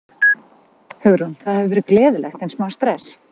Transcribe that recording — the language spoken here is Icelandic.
Hugrún: Það hefur verið gleðilegt en smá stress?